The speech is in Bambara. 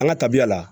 An ka tabiya la